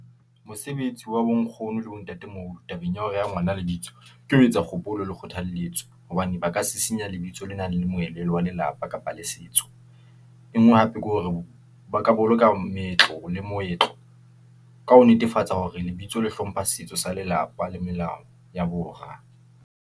Mosebetsi wa bonkgono le bontate tabeng ya ho reha ngwana lebitso, ke ho etsa kgopolo le kgothaletso, hobane ba ka sisinya lebitso lena le moelelo wa lelapa kapa le setso , enngwe hape ke hore ba ka boloka meetlo le moetlo , ka ho netefatsa hore lebitso le hlompha setso sa lelapa le melao ya bora.